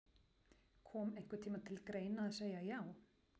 Kom einhvern tímann til greina að segja já?